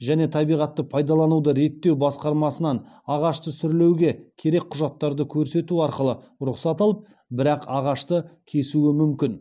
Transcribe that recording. және табиғатты пайдалануды реттеу басқармасынан ағашты сүрлеуге керек құжаттарды көрсету арқылы рұқсат алып бірақ ағашты кесуі мүмкін